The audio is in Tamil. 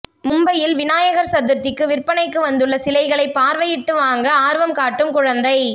மும்பையில் விநாயகர் சதுர்த்திக்கு விற்பனைக்கு வந்துள்ள சிலைகளை பார்வையிட்டுவாங்க ஆர்வம் காட்டும் குழந்தை